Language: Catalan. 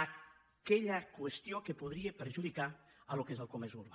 aquella qüestió que podria perjudicar el que és el comerç urbà